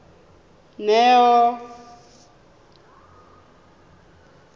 neo